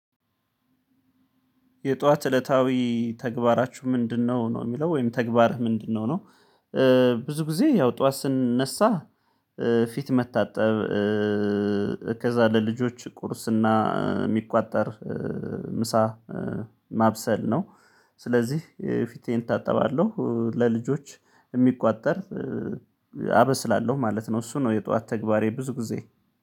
የጧት እለታዊ ተግባራችሁ ምንድነው ነው የሚለው ወይም ተግባርህ ምንድነው? ነው ብዙ ጊዜ ያው ጠዋት ስንነሳ ፊት መታጠብ፣ ከዛ ለልጆች ቁርስና የሚቋጠር ምሳ ማብሰል ነው። ስለዚህ ፊቴን እታጠባለሁ፣ ለልጆች የሚቋጠር አበስላለሁ ማለት ነው እሱ ነው የጧት ተግባሬ ብዙ ጊዜ።